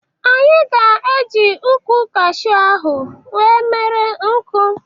Anyị ga-eji ukwụ kashu ahụ wee mere nkụ.